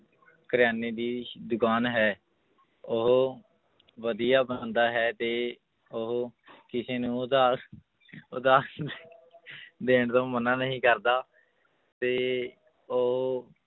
ਕਰਿਆਨੇ ਦੀ ਦੁਕਾਨ ਹੈ ਉਹ ਵਧੀਆ ਬੰਦਾ ਹੈ ਤੇ ਉਹ ਕਿਸੇ ਨੂੰ ਉਧਾਰ ਉਧਾਰ ਸੁਧਾ~ ਦੇਣ ਤੋਂ ਮਨਾ ਨਹੀਂ ਕਰਦਾ ਤੇ ਉਹ